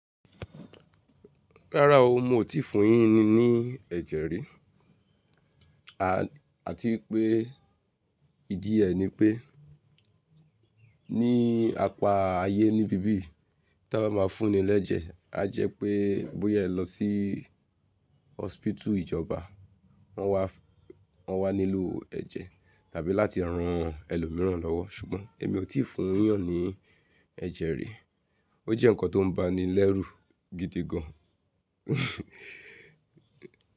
Rárá o, mo ò tíì fún yín ni ni ẹ́jẹ̀ rí. Àti pé ìdí ẹ ni pé ní apá ayé níbí bí yìí tó bá máa fún ni lẹ́jẹ̀, á jẹ́ pé bóyá ẹ lọ sí hospital ìjọba, wọ́n wá, wọ́n wá nílò ẹ̀jẹ̀ tàbí láti ran ẹlòmíràn lọ́wọ́. Ṣùgbọ́n èmi ò tíì fún yàn ní ẹ̀jẹ̀ rí. Ó jẹ́ nǹkan tó ń ba ni lẹ́rù gidi gan.